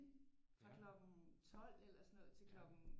Fra klokken 12 eller sådan noget til klokken